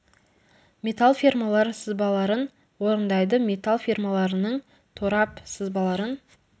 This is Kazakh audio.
металл фермалар сызбаларын орындайды металл фермаларының торап сызбаларын